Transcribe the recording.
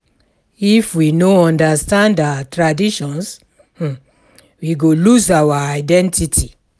If we no understand our traditions, we go lose our identity.